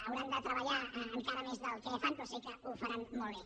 hauran de treballar encara més del que ho fan però sé que ho faran molt bé